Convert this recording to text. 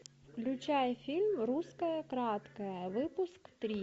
включай фильм русская краткая выпуск три